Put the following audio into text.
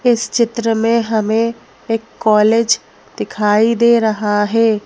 इस चित्र में हमें एक कॉलेज दिखाई दे रहा है।